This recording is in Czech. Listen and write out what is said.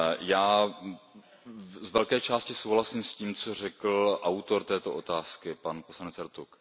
Já z velké části souhlasím s tím, co řekl autor této otázky, pan poslanec Ertug.